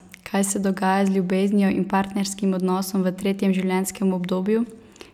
Kaj se dogaja z ljubeznijo in partnerskim odnosom v tretjem življenjskem obdobju?